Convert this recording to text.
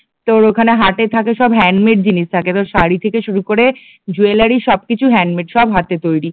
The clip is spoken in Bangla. তোর ওখানে হাটে থাকে সব হ্যান্ডমেড জিনিস থাকে তোর শাড়ি থেকে শুরু করে জুয়েলারি সব কিছুই হ্যান্ডমেড, সব হাতে তৈরি